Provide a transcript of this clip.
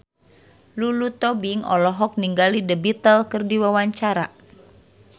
Lulu Tobing olohok ningali The Beatles keur diwawancara